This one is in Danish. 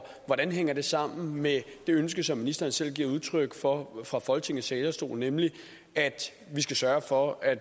hvordan hænger det sammen med det ønske som ministeren selv giver udtryk for fra folketingets talerstol nemlig at vi skal sørge for at